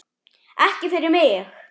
Ekki fyrir mig!